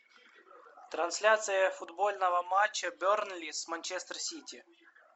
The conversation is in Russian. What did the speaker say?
трансляция футбольного матча бернли с манчестер сити